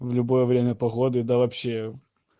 в любое время погоды да вообще